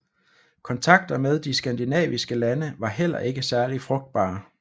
Kontakter med de skandinaviske lande var heller ikke særlig frugtbare